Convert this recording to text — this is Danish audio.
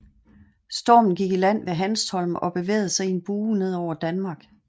Stormen gik i land ved Hanstholm og bevægede sig i en bue ned over Danmark